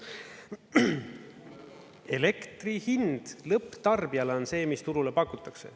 Elektri hind lõpptarbijale on see, mis turule pakutakse.